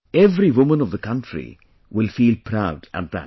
Every woman of the country will feel proud at that